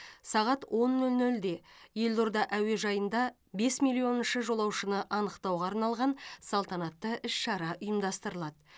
сағат он нөл нөлде елорда әуежайында бес миллионыншы жолаушыны анықтауға арналған салтанатты іс шара ұйымдастырылады